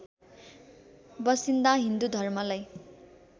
बसिन्दा हिन्दु धर्मलाई